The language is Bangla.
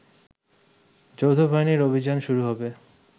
যৌথবাহিনীর অভিযান শুরু হবে